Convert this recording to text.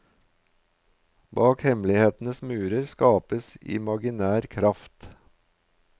Bak hemmelighetenes murer skapes imaginær kraft.